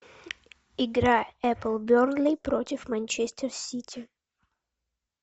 игра апл бернли против манчестер сити